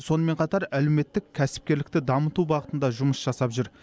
сонымен қатар әлеуметтік кәсіпкерлікті дамыту бағытында жұмыс жасап жүр